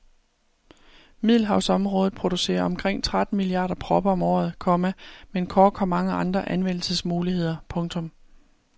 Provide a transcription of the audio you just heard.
Middelhavsområdet producerer omkring tretten milliarder propper om året, komma men kork har mange andre anvendelsesmuligheder. punktum